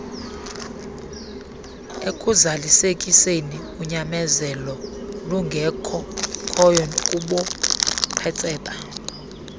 ekuzalisekiseni unyamezeloolungekhoyo kubuqhetseba